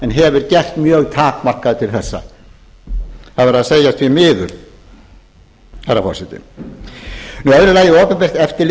en hefur gert mjög takmarkað til þessa það verður að segja því miður herra forseti annað að opinbert eftirlit